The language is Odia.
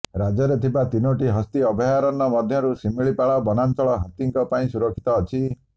ରାଜ୍ୟରେ ଥିବା ତିନୋଟି ହସ୍ତୀ ଅଭୟାରଣ୍ୟ ମଧ୍ୟରୁ ଶିମିଳିପାଳ ବନାଚଂଳ ହାତୀଙ୍କ ପାଇଁ ସୁରକ୍ଷିତ ଅଛି